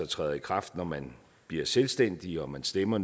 træder i kraft når man bliver selvstændig og man stemmer